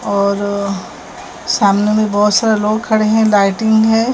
और सामने मे बहोत सारे लोग खडे हैं लाइटिंग है।